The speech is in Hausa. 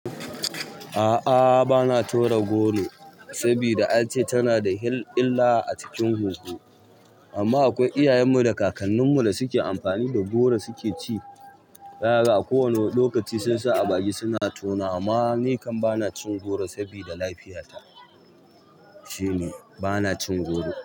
A'a bana tora goro saboda an ce tana da illah a cikin huhu. Amma akwai iyayen mu da kakannin mu da suke amfani da goro suke ci. Zaka ga a kowane lokaci sun sa a baki suna taunawa. Amma ni kam bana cin goro sabida lafiyata shine bana cin goro.